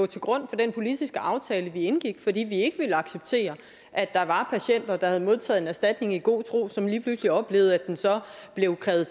til grund for den politiske aftale vi indgik fordi vi ikke ville acceptere at der var patienter der havde modtaget en erstatning i god tro som lige pludselig oplevede at den så blev krævet